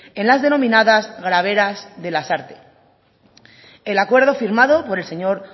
en las denominadas graveras de lasarte el acuerdo firmado por el señor